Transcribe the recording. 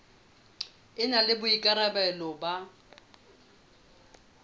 e na le boikarabelo ba